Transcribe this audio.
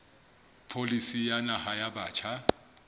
pholisi ya naha ya batjha